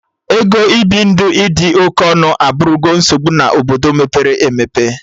Ego ibi ndụ ịdị oke ọnụ abụrụgo nsogbu na Obodo mepere emepe